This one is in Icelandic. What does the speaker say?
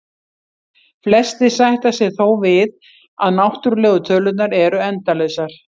Flestir sætta sig þó við að náttúrlegu tölurnar eru endalausar.